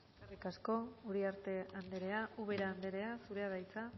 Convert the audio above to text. eskerrik asko uriarte anderea ubera anderea zurea da hitza